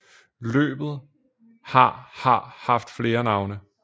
Løbet har har haft flere navne